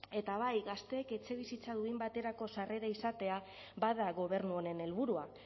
eta bai gazteek etxebizitza duin baterako sarrera izatea bada gobernu honen helburua